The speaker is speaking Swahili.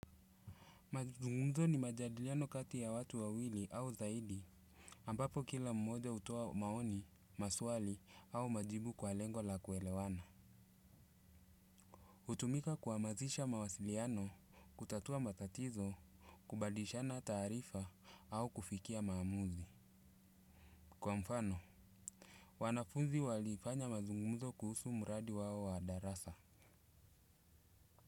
Mazungumzo ni majadiliano kati ya watu wawili au zaidi ambapo kila mmoja hutoa maoni, maswali au majibu kwa lengo la kuelewana hutumika kuamazisha mawasiliano, kutatua matatizo, kubadishana tarifa au kufikia maamuzi. Kwa mfano wanafunzi walifanya mazungumzo kuhusu mradi wao wa darasa.